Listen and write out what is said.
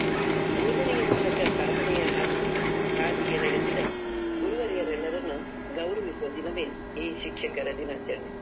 ಬೋಧನೆಯ ಮೂಲಕ ಸಾಧನೆಯ ಹಾದಿಗೆ ಹಾದಿಗೆ ನಡೆಸಿದ ಗುರುವರ್ಯವರನ್ನೆಲ್ಲ ಗೌರವಿಸುವ ದಿನವೇ ಈ ಶಿಕ್ಷಕರ ದಿನಾಚರಣೆ.